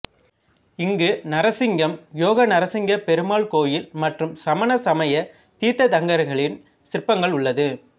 இங்கு நரசிங்கம் யோகநரசிங்கப் பெருமாள் கோயில் மற்றும் சமண சமய தீர்த்தங்கரர்களின் சிற்பங்கள் உள்ளது